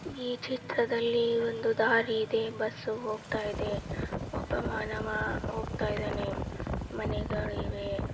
ಈ ಚಿತ್ರದಲ್ಲಿ ಒಂದು ದಾರಿ ಇದೆ ಬಸ್ಸು ಹೋಗುತ್ತಾ ಇದೆ ಒಬ್ಬ ಮಾನವ ಹೋಗ್ತಾ ಇದ್ದಾನೆ ಮನೆಗಳಿವೆ.